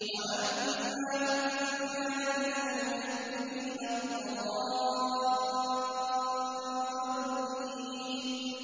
وَأَمَّا إِن كَانَ مِنَ الْمُكَذِّبِينَ الضَّالِّينَ